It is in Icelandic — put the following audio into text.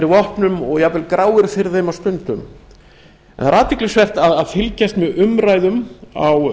vopnum og jafnvel gráir fyrir þeim á stundum það er athyglisvert að fylgjast með umræðum á